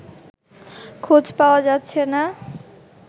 খোঁজ পাওয়া যাচ্ছে না